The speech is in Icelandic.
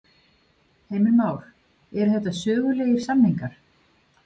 Heimir Már: Eru þetta sögulegir samningar?